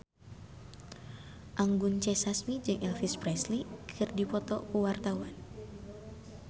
Anggun C. Sasmi jeung Elvis Presley keur dipoto ku wartawan